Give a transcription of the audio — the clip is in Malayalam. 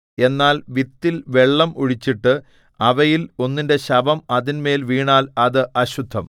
എന്നാൽ വിത്തിൽ വെള്ളം ഒഴിച്ചിട്ട് അവയിൽ ഒന്നിന്റെ ശവം അതിന്മേൽ വീണാൽ അത് അശുദ്ധം